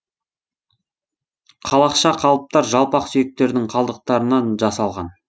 қалақша қалыптар жалпақ сүйектердің қалдықтарынан жасалған